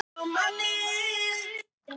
Svavar: Þannig að.